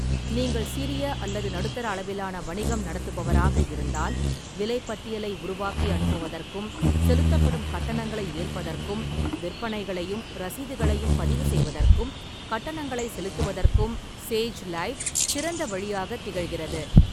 நீங்கள் சிறிய அல்லது நடுத்தர அளவிலான வணிகம் நடத்துபவராக இருந்தால், விலைப்பட்டியலை உருவாக்கி அனுப்புவதற்கும், செலுத்தப்படும் கட்டணங்களை ஏற்பதற்கும், விற்பனைகளையும் ரசீதுகளையும் பதிவுசெய்வதற்கும் கட்டணங்களைச் செலுத்துவதற்கும் சேஜ் லைவ் சிறந்த வழியாகத் திகழ்கிறது.